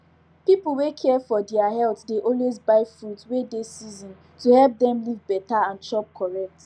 pipu wey care for deir health dey always buy fruits wey dey season to help dem live better and chop correct